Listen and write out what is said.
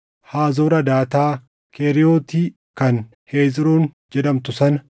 Haazoor Hadaataa, Keriiyooti kan Hezroon jedhamtu sana,